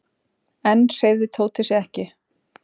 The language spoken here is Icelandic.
Enn hreyfði Tóti sig ekki.